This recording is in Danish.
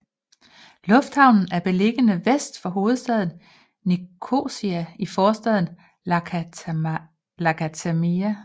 Lufthavnen er beliggende vest for hovedstaden Nicosia i forstaden Lakatamia